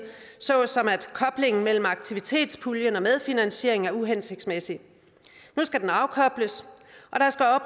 såsom at koblingen mellem aktivitetspulje og medfinansiering er uhensigtsmæssig nu skal den afkobles